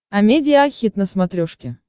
амедиа хит на смотрешке